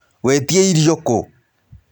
Wetĩa irio kũ?